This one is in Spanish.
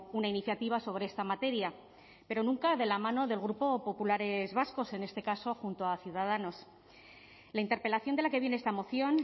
una iniciativa sobre esta materia pero nunca de la mano del grupo populares vascos en este caso junto a ciudadanos la interpelación de la que viene esta moción